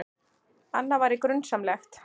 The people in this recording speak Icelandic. Annað væri grunsamlegt.